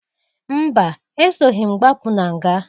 Mba! Esoghi m gbapụ na nga.